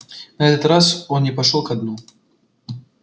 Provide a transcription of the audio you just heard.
на этот раз он не пошёл ко дну